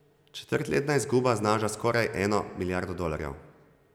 Četrtletna izguba znaša skoraj eno milijardo dolarjev.